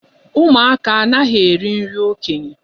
Ụmụaka anaghị eri nri okenye.